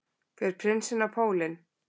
Fer prinsinn á pólinn